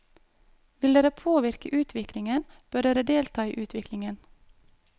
Vil dere påvirke utviklingen, bør dere delta i utviklingen.